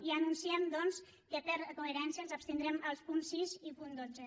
i ja anunciem doncs que per coherència ens abstindrem al punt sis i punt dotze